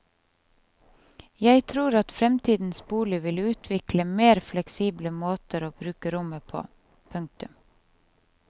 Jeg tror at fremtidens bolig vil utvikle mer fleksible måter å bruke rommet på. punktum